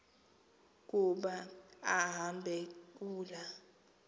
kuba kambe kula